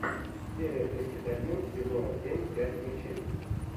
серия тридцать один сезона семь пять ключей